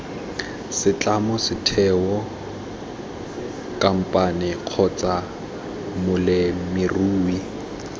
setlamo setheo khamphane kgotsa molemirui